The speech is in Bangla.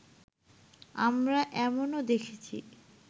আমরা এমনও দেখেছি